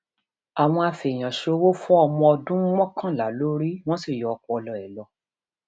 àwọn afẹèyànṣòwò fọ ọmọọdún mọkànlá lórí wọn sì yọ ọpọlọ ẹ lọ